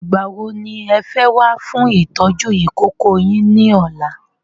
Ìgbà wo ní ẹ fẹ́ wá fún ìtọ́jú ìkókó yin ni ọ̀la?